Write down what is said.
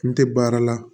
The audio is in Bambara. N tɛ baara la